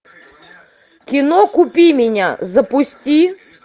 кино купи меня запусти